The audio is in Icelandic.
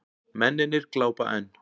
Mennirnir glápa enn.